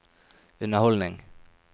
underholdning